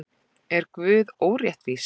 Er Guð óréttvís?